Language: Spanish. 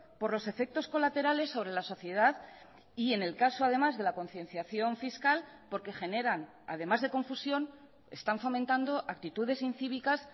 por los efectos colaterales sobre la sociedad y en el caso además de la concienciación fiscal porque generan además de confusión están fomentando actitudes incívicas